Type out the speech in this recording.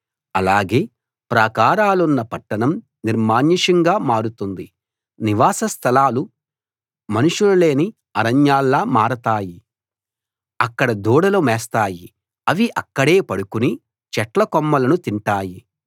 అలాగే ప్రాకారాలున్న పట్టణం నిర్మానుష్యంగా మారుతుంది నివాస స్థలాలు మనుషులు లేని అరణ్యాల్లా మారతాయి అక్కడ దూడలు మేస్తాయి అవి అక్కడే పడుకుని చెట్ల కొమ్మలను తింటాయి